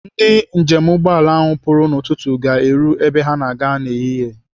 Ndị njem ụgbọala ahụ pụrụ n'ụtụtụ ga-eru ebe ha na-aga n'ehihie.